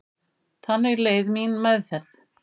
Þannig leið mín meðferð.